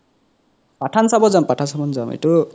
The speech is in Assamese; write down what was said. পাথান চাব যাম পাথান চাব যাম এইতো